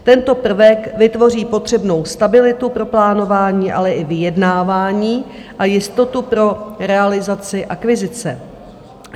Tento prvek vytvoří potřebnou stabilitu pro plánování, ale i vyjednávání a jistotu pro realizaci akvizice.